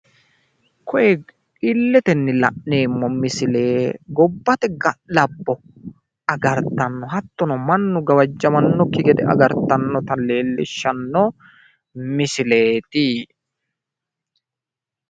Tini illetenni la'neemmo misile gobbate ga'labbo agartanota hattono mannu gawajamannokki gede agartannore leellishshanno misileeti.